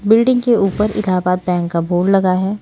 Building के ऊपर Allahabad bank का बोर्ड लगा है।